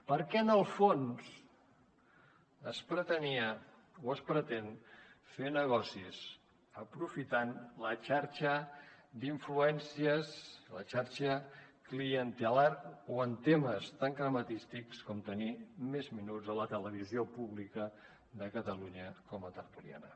perquè en el fons es pretenia o es pretén fer negocis aprofitant la xarxa d’influències la xarxa clientelar o en temes tan crematístics com tenir més minuts a la televisió pública de catalunya com a tertuliana